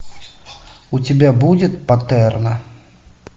у тебя будет патерно